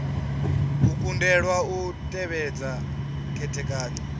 u kundelwa u tevhedza khethekanyo